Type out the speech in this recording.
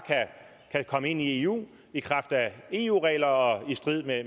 kan komme ind i eu i kraft af eu regler og i strid